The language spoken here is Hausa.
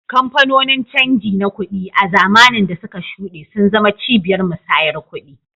Kamfanonin canji na kuɗi, a zamanin da suka shuɗe, sun zama cibiyar musayar kuɗi.